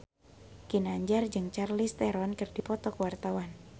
Ginanjar jeung Charlize Theron keur dipoto ku wartawan